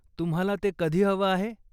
तुम्हाला ते कधी हवं आहे?